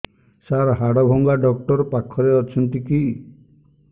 ସାର ହାଡଭଙ୍ଗା ଡକ୍ଟର ପାଖରେ ଅଛନ୍ତି କି